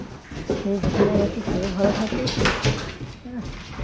যে যেখানে গেছে সেও ভালো থাকুক আঃ